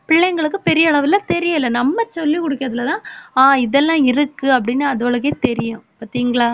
பிள்ளைங்களுக்கு பெரிய அளவுல தெரியல நம்ம சொல்லிக் கொடுக்கிறதுலதான் ஆஹ் இதெல்லாம் இருக்கு அப்படின்னு அதுகளுக்கே தெரியும் பாத்தீங்களா